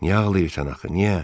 Niyə ağlayırsan axı, niyə?